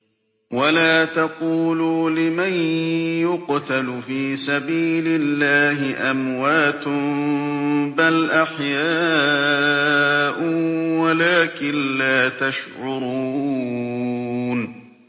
وَلَا تَقُولُوا لِمَن يُقْتَلُ فِي سَبِيلِ اللَّهِ أَمْوَاتٌ ۚ بَلْ أَحْيَاءٌ وَلَٰكِن لَّا تَشْعُرُونَ